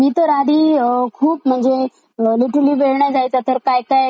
एसिली वेळ नाय जायचा तर काय काय इंटरटेन करू स्वतःला असं व्हायचं मला, मला